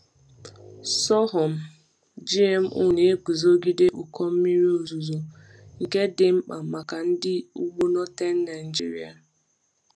Sorghum GMO na-eguzogide ụkọ mmiri ozuzo, nke dị mkpa maka ndị ugbo Northern Nigeria.